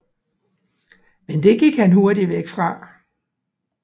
Men det gik han hurtig væk fra